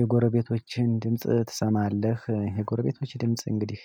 የጎረቤቶችህን ድምጽ ትሰማለህ? የጎረቤቶቼ ድምጽ እንግዲህ